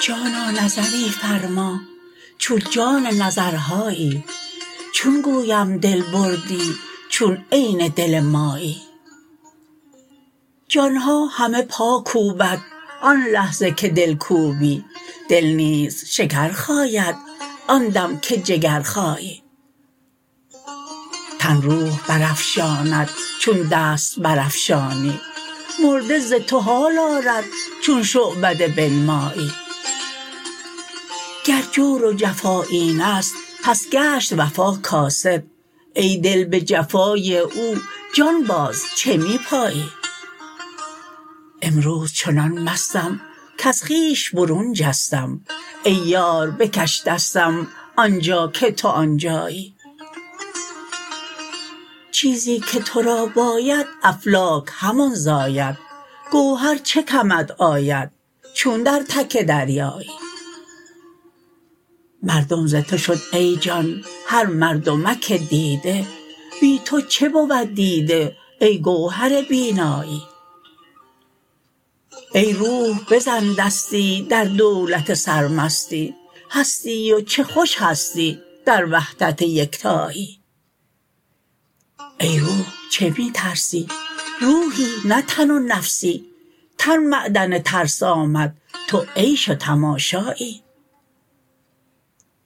جانا نظری فرما چون جان نظرهایی چون گویم دل بردی چون عین دل مایی جان ها همه پا کوبند آن لحظه که دل کوبی دل نیز شکر خاید آن دم که جگر خایی تن روح برافشاند چون دست برافشانی مرده ز تو حال آرد چون شعبده بنمایی گر جور و جفا این است پس گشت وفا کاسد ای دل به جفای او جان باز چه می پایی امروز چنان مستم کز خویش برون جستم ای یار بکش دستم آن جا که تو آن جایی چیزی که تو را باید افلاک همان زاید گوهر چه کمت آید چون در تک دریایی مردم ز تو شد ای جان هر مردمک دیده بی تو چه بود دیده ای گوهر بینایی ای روح بزن دستی در دولت سرمستی هستی و چه خوش هستی در وحدت یکتایی ای روح چه می ترسی روحی نه تن و نفسی تن معدن ترس آمد تو عیش و تماشایی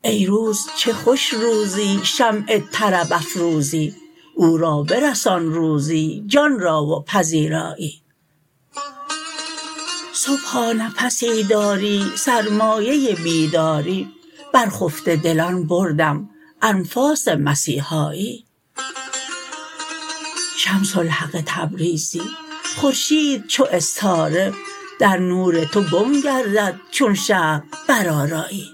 ای روز چه خوش روزی شمع طرب افروزی او را برسان روزی جان را و پذیرایی صبحا نفسی داری سرمایه بیداری بر خفته دلان بردم انفاس مسیحایی شمس الحق تبریزی خورشید چو استاره در نور تو گم گردد چون شرق برآرایی